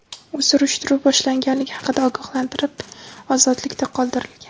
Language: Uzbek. U surishtiruv boshlanganligi haqida ogohlantirilib, ozodlikda qoldirilgan.